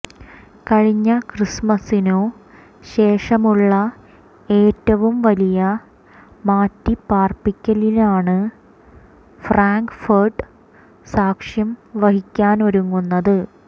കഴിഞ്ഞ ക്രിസ്മസിനു ശേഷമുള്ള ഏറ്റവും വലിയ മാറ്റിപാര്പ്പിക്കലിനാണ് ഫ്രാങ്ക്ഫര്ട്ട് സാക്ഷ്യം വഹിക്കാനൊരുങ്ങുന്നത്